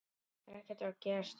Auð atkvæði